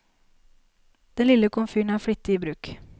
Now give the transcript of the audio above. Den lille komfyren er flittig i bruk.